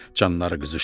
Canları qızışdı.